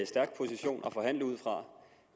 stærk position at forhandle ud fra